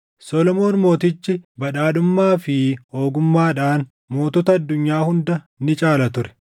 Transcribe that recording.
Solomoon Mootichi badhaadhummaa fi ogummaadhaan mootota addunyaa hunda ni caala ture.